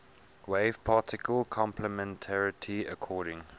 wave particle complementarity according